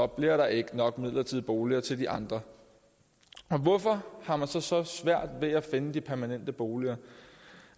bliver der ikke nok midlertidige boliger til de andre hvorfor har man så så svært ved at finde de permanente boliger